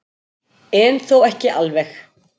En þó ekki alveg.